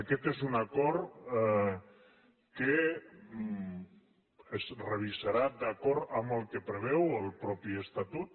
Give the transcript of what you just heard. aquest és un acord que es revisarà d’acord amb el que preveu el mateix estatut